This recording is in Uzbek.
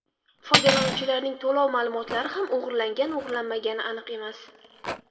Foydalanuvchilarning to‘lov ma’lumotlari ham o‘g‘irlangan-o‘g‘irlanmaganligi aniq emas.